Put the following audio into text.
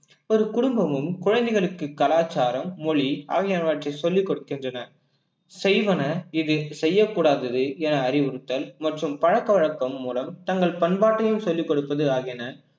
ஒரு குடும்பமும் குழந்தைகளுக்கு கலாச்சாரம், மொழி ஆகியவற்றை சொல்லிக் கொடுக்கின்றன செய்வன எது செய்யக் கூடாதது என அறிவுறுத்தல் மற்றும் பழக்க வழக்கம் மூலம் தங்கள் பண்பாட்டையும் சொல்லிக் கொடுப்பது ஆகியன